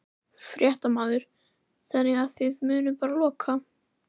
Fréttamaður: Þannig að þið munið bara loka?